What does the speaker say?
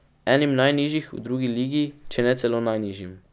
Enim najnižjih v drugi ligi, če ne celo najnižjim.